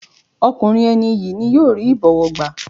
Ọkùnrin ẹni iyì ni yóò rí ìbọ̀wọ̀ gbá.